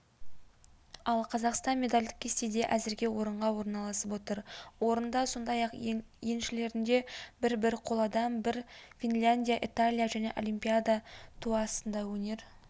ал қазақстан медальдық кестеде әзірге орынға орналасып отыр орында сондай-ақ еншілерінде бір-бір қоладан бар финляндия италия және олимпиада туы астында өнер